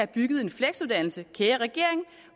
bygget en fleksuddannelse kære regering